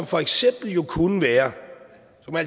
for eksempel kunne være